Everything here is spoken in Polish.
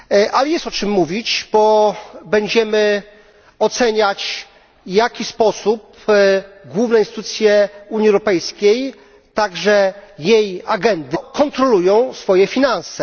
Ale jest o czym mówić, bo będziemy oceniać, w jaki sposób główne instytucje Unii Europejskiej, także jej agencje kontrolują swoje finanse.